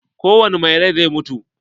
Kowani mai rai zai mutu.